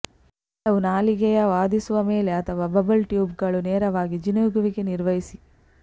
ಕೆಲವು ನಾಲಿಗೆಯ ವಾದಿಸುವ ಮೇಲೆ ಅಥವಾ ಬಬಲ್ ಟ್ಯೂಬ್ಗಳು ನೇರವಾಗಿ ಜಿನುಗುವಿಕೆ ನಿರ್ವಹಿಸಿ